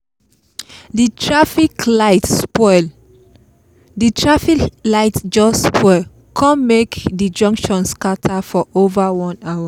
the traffic light just spoil kon make the junction scatter for over one hour